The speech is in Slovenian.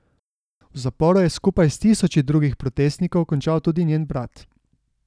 V zaporu je skupaj s tisoči drugih protestnikov končal tudi njen brat.